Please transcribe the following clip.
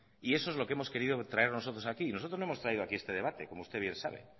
y eso es lo que hemos querido traer nosotros aquí nosotros no hemos traído aquí este debate como usted bien sabe